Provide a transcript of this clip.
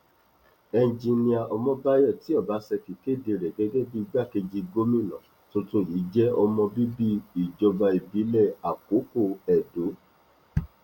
ẹnjinnìá ọmọbáyọ tí ọbaṣẹkí kéde rẹ gẹgẹ bíi igbákejì gómìnà tuntun yìí jẹ ọmọ bíbí ìjọba ìbílẹ àkókò edo